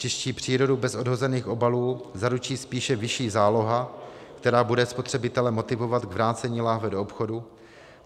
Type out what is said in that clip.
Čistší přírodu bez odhozených obalů zaručí spíše vyšší záloha, která bude spotřebitele motivovat k vrácení lahve do obchodu.